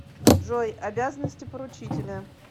джой обязанности поручителя